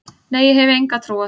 Nei, ég hef enga trú á því.